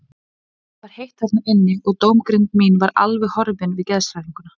En það var heitt þarna inni og dómgreind mín var alveg horfin við geðshræringuna.